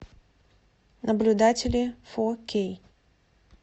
наблюдатели фо кей